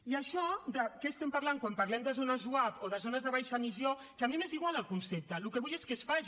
i això de què estem parlant quan parlem de zones zuap o de zones de baixa emissió que a mi m’és igual el concepte el que vull és que es faci